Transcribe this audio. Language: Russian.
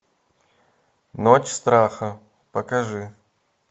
ночь страха покажи